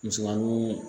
Misigɛnni